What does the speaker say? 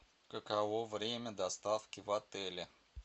каково время доставки в отеле